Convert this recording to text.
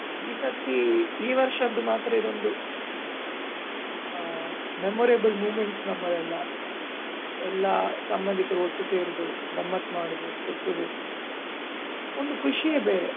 ಈ ಸರ್ತಿ ಈ ವರ್ಷದ್ದು ಮಾತ್ರ ಇದೊಂದು ಆ memorable moments ನಮ್ಮದೆಲ್ಲ. ಎಲ್ಲ ಸಂಬಂದಿಕರು ಒಟ್ಟು ಸೇರುದು, ಗಮ್ಮತ್ ಮಾಡುದು, ಸುತ್ತುದು ಒಂದು ಖುಷಿಯೇ ಬೇರೆ.